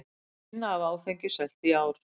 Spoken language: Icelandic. Minna af áfengi selt í ár